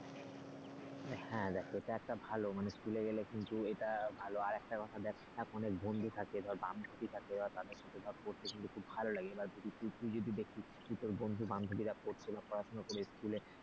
হ্যাঁ দেখ এটা একটা দেখ ভালো school গেলে কিন্তু এটা ভালো আর একটা কথা দেখ বন্ধু থাকে আর বান্ধবী থাকে দের সাথে পড়তে কিন্তু খুব ভালো লাগে। এবার তুই যদি দেখিস তোর বন্ধুবান্ধবীরা পড়ছে বা পড়াশোনা করে school